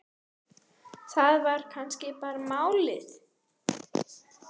Það var kannski bara málið.